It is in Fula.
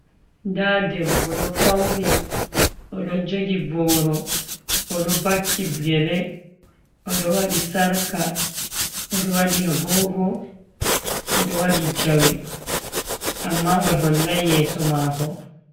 Nda debbo ɗo fauni. Oɗo jogi boro, oɗo vakki gele, oɗo waɗi sarka, oɗo waɗi agogo, oɗo waɗi jawe amma ohollai yeeso mako.